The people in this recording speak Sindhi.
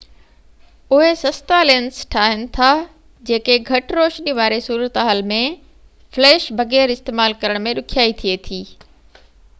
اهي سستا لينس ٺاهين ٿا جيڪي گهٽ روشني واري صورتحال ۾ فليش بغير استعمال ڪرڻ ۾ ڏکيائي ٿئي ٿي